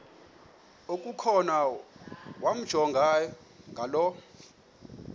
okukhona wamjongay ngaloo